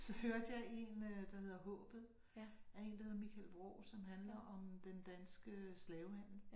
Så hørte jeg 1 øh der hedder Haabet af én der hedder Michael Vraa som handler om den danske slavehandel